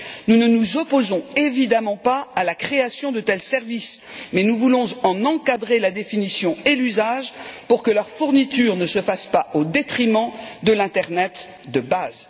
Nous ne nous opposons évidemment pas à la création de tels services, mais nous voulons en encadrer la définition et l'usage pour que leur fourniture ne s'effectue pas au détriment de l'internet de base.